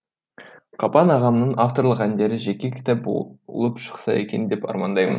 қапан ағамның авторлық әндері жеке кітап болып шықса екен деп армандаймын